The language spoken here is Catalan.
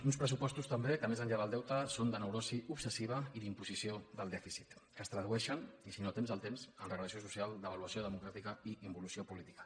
uns pressupostos també que més enllà del deute són de neurosi obsessiva i d’imposició del dèficit que es tradueixen i si no temps al temps en regressió social devaluació democràtica i involució política